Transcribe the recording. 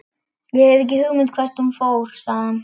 Ég hef ekki hugmynd um hvert hún fór, sagði hann.